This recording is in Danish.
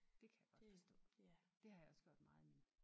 Det kan jeg godt forstå det har jeg også gjort mig meget i